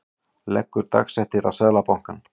Leggur dagsektir á Seðlabankann